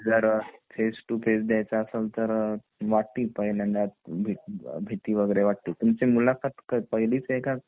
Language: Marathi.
जर फेस टू फेस द्यायचा असेल तर वाटती पहिल्यांदा भीती वैगरे वाटती तुमची मुलाखत पहिलीच आहे का